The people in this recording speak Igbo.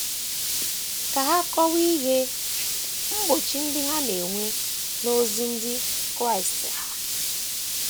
Ka ha kọwaa ihe mgbochi ndị ha na - enwe n’ozi ndị Kraịst ha.